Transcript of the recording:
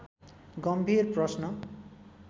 गम्भीर प्रश्न